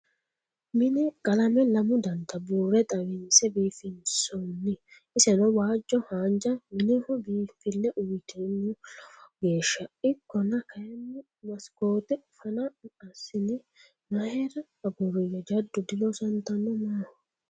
Mine qalame lamu danitta buure xawinse biifinsonni iseno waajjo haanja mineho biinfile uyitino lowo geeshsha ikkonna kayinni masikote fano assine mayra aguriya jaddo diloosattano maaho ?